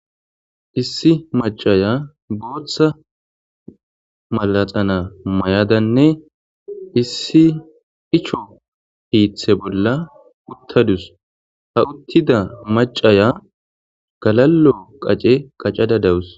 Issi macaya gooththa malaxana may7adanne issi icho hiithe bolla uttadus ha uttida macaya galallo qace qacada dawus.